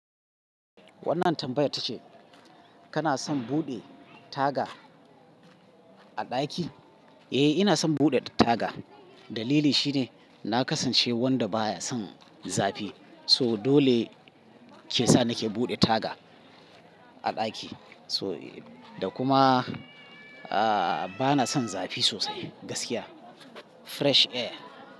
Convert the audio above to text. Wannan tambayar ta ce kana son buɗe taga a ɗaki? Eh, ina son buɗe taga. Dalili shine na kasance wanda baya son zafi. Toh dole ke sa nake buɗe taga a ɗaki. Toh, da kuma, bana son zafi sosai gaskiya. Fresh air.